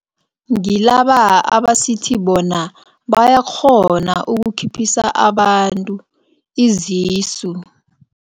Ngilaba abasithi bona bayakghona ukukhuphukisa abantu izisu.